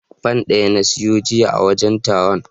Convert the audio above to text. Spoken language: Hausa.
Fan ɗaya na siya jiya a wajen taron.